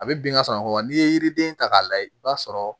A bɛ bin ka sɔrɔ a kɔrɔ wa n'i ye yiriden ta k'a lajɛ i b'a sɔrɔ